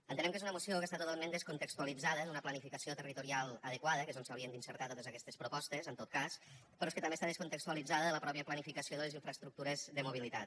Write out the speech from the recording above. entenem que és una moció que està totalment descontextualitzada d’una planificació territorial adequada que és on s’haurien d’inserir totes aquestes propostes en tot cas però és que també està descontextualitzada de la mateixa planificació de les infraestructures de mobilitat